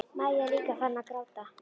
Maja er líka farin að gráta.